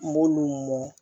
N b'olu mɔ